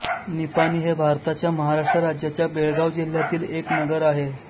निपाणी हे भारताच्या कर्नाटक राज्याच्या बेळगाव जिल्ह्यातील एक नगर आहे